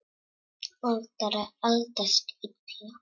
Ætlar að eldast illa.